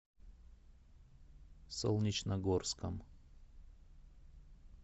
солнечногорском